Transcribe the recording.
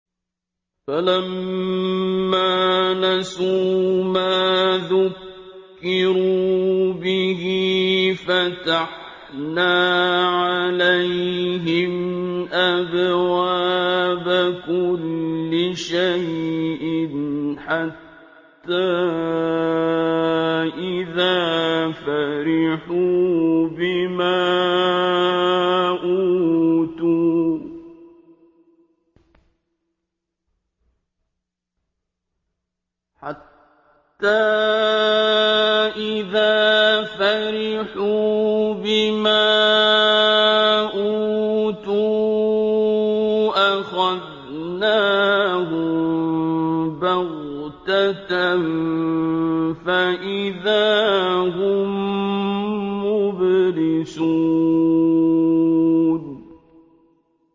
فَلَمَّا نَسُوا مَا ذُكِّرُوا بِهِ فَتَحْنَا عَلَيْهِمْ أَبْوَابَ كُلِّ شَيْءٍ حَتَّىٰ إِذَا فَرِحُوا بِمَا أُوتُوا أَخَذْنَاهُم بَغْتَةً فَإِذَا هُم مُّبْلِسُونَ